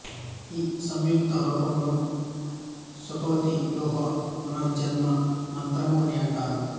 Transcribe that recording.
ఈ సంక్షిప్త రూపమును సుఖవతివ్యూహ పునఃజన్మ మంత్రము అని అంటారు